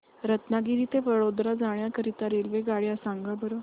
रत्नागिरी ते वडोदरा जाण्या करीता रेल्वेगाड्या सांगा बरं